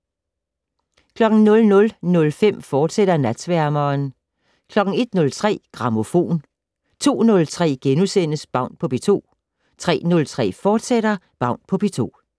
00:05: Natsværmeren, fortsat 01:03: Grammofon 02:03: Baun på P2 * 03:03: Baun på P2, fortsat